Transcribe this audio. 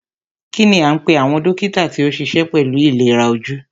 Kínní a ń pé àwọn dókítà tí o níṣe pẹlú ìlera ojú?